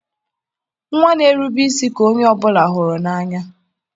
nwa na-erube isi ka onye ọ bụla hụrụ n'anya.